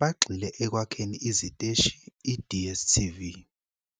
bagxile ekwakheni iziteshi I-DStv.